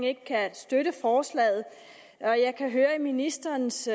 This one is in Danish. ikke kan støtte forslaget jeg kan høre i ministerens